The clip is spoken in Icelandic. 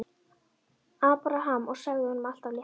Abraham og sagði honum allt af létta.